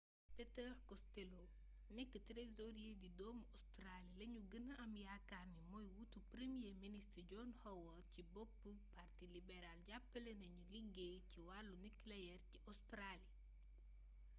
peter costello nekk trésorier di doomu australie lañu gëna am yaakaar ni mooy wuutu premier ministre john howard ci boppu parti libéral jàppale na ñiy liggéey ci wàllu nucléaire ci australie